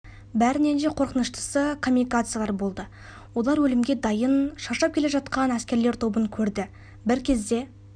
бәрінен де қорқыныштысы камикадзалар болды олар өлімге дайын шаршап келе жатқан әскерлер тобын көрді бір кезде